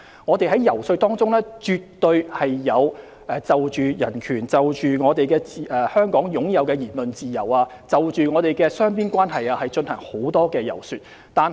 我們在遊說過程中，絕對有就香港擁有的人權和言論自由及雙邊關係進行很多解說。